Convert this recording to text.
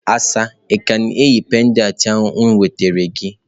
Asa ị ka na-eyi pendant m nwetara gị?